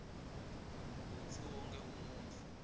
kutsi wonkhe umuntfu